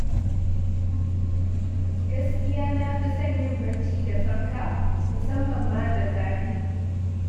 Gaskiya na fi son yin barci da fanka, musamman ma da zafi